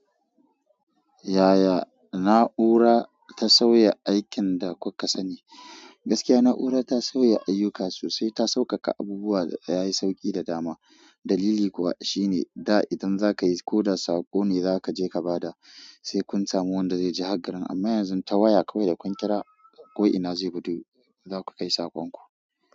Yaya na'ura ta sauya aikin da kuka sani? Gaskiya na'ura ta sauya ayyuka sosai, ta sauƙaƙa abubuwa da ya yi sauƙi da dama. Dalili kuwa shine da idan za ka yi ko da saƙo ne za ka je ka ba da, sai kun samu wanda zai je hagarun. Amma yanzu ta waya kawai da kun kira, ko'ina zai gudu za ku kai saƙonku.